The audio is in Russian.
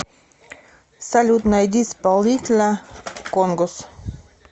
салют найди исполнителя конгос